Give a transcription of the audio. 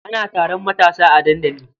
Ana taron matasa a dandali.